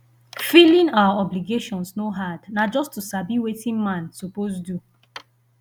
filing our obligations no hard na just to sabi wetin man suppose do